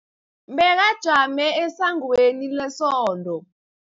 Bekajame esangweni lesonto.